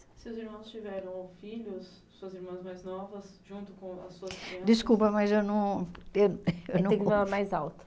Se os irmãos tiveram filhos, suas irmãs mais novas, junto com as suas crianças... Desculpa, mas eu não eu... Tem que falar mais alto.